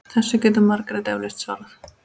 Þessu getur Margrét eflaust svarað.